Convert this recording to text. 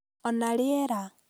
Ona riera